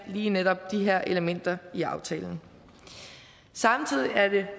lige netop de her elementer i aftalen samtidig er det